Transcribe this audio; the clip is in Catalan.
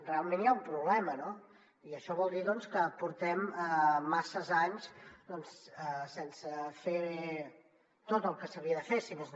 realment hi ha un problema no i això vol dir que portem masses anys sense fer tot el que s’havia de fer si més no